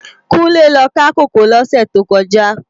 Kunle lò ká kókòó lòsè tókòjá